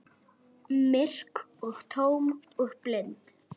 Myrk og tóm og blind.